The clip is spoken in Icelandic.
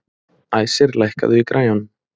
Æsir, lækkaðu í græjunum.